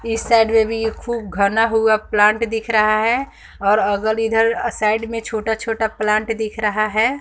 इस साइड में भी इ खूब घना हुआ प्लांट दिख रहा है और अगल इधर साइड में छोटा-छोटा प्लांट दिख रहा है।